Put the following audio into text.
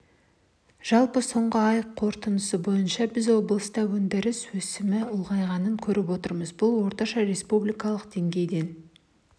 жалпы соңғы ай қорытындысы бойынша біз облыста өндіріс өсімі ұлғайғанын көріп отырмыз бұл орташа республикалық деңгейден